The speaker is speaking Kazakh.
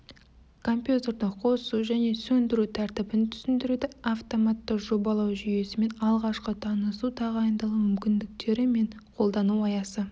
компьютерді қосу және сөндіру тәртібін түсіндіреді автоматты жобалау жүйесімен алғашқы танысу тағайындалуы мүмкіндіктер мен қолдану аясы